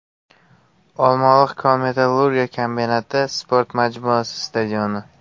Olmaliq kon-metallurgiya kombinati sport majmuasi stadioni.